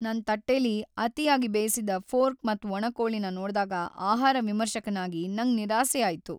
ನನ್ ತಟ್ಟೆಲಿ ಅತಿಯಾಗ್ ಬೇಯಿಸಿದ ಫೋರ್ಕ್ ಮತ್ ಒಣ ಕೋಳಿನ ನೋಡ್ದಾಗ ಆಹಾರ ವಿಮರ್ಶಕನಾಗಿ, ನಂಗ್ ನಿರಾಸೆ ಆಯ್ತು.